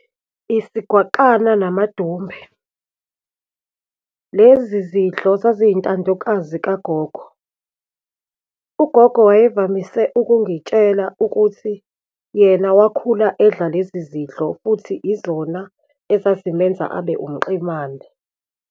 Isigwaqana namadumbe. Lezi zidlo zaziyintandokazi kagogo. Ugogo wayevamise ukungitshela ukuthi yena wakhula edla lezi zidlo, futhi izona ezazimenza abe umqemane.